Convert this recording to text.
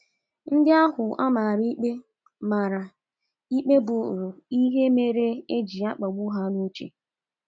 Ndị ahụ a mara ikpe mara ikpe buuru ihe mere e ji na - akpagbu ha n’uche.